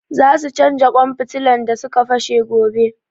Za su canja ƙwan fitilan da su ka fashe gobe